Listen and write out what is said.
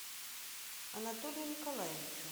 анатолию николаевичу